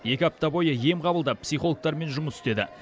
екі апта бойы ем қабылдап псхилогтармен жұмыс істеді